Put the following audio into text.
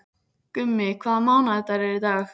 Gummi, hvaða mánaðardagur er í dag?